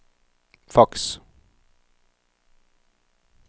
faks